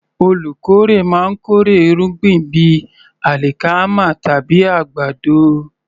Olùkórè máa ń kórè irúgbìn bíi alikama tàbí àgbàdo.